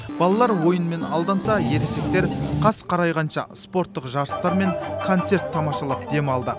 балалар ойынмен алданса ересектер қас қарайғанша спорттық жарыстар мен концерт тамашалап демалды